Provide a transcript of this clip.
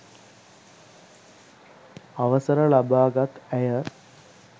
අවසර ලබාගත් ඇය